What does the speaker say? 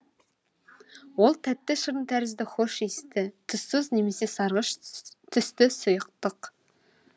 ол тәтті шырын тәрізді хош иісті түссіз немесе сарғыш түсті сұйықтық